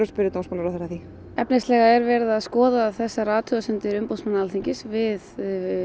að spyrja dómsmálaráðherra að því efnislega er verið að skoða þessar athugasemdir umboðsmanns Alþingis við